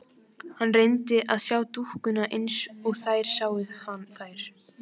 Hann reyndi að sjá dúkkuna eins og þeir sáu þær.